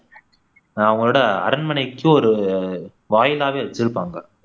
அவங்களோட அரண்மனைக்கு ஒரு வாயிலாகவே வச்சிருப்பாங்க